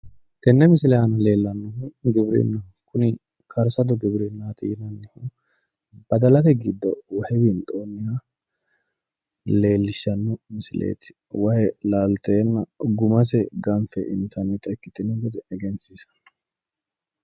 Tenne misile aana leellannohu giwirinnaho. Kuni karsote giwirinnaati yinanniho. Badalate giddo wahe leellishshanno misileeti. Wahe laalteenna gumase ganfe intannita ikkitino gede egensiissanno.